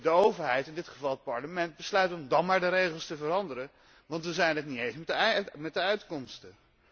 de overheid in dit geval het Parlement besluit om dan maar de regels te veranderen, omdat we het niet eens zijn met de uitkomsten.